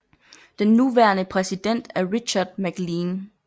Den nuværende præsident er Richard MacLean